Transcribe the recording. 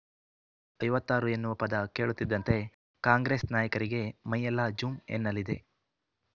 ಐವತ್ತ್ ಆರು ಎನ್ನುವ ಪದ ಕೇಳುತ್ತಿದ್ದಂತೆ ಕಾಂಗ್ರೆಸ್ ನಾಯಕರಿಗೆ ಮೈಯೆಲ್ಲಾ ಜುಂ ಎನ್ನಲಿದೆ